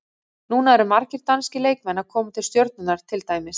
Núna eru margir danskir leikmenn að koma til Stjörnunnar til dæmis.